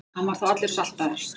Hann var þá allur saltaður.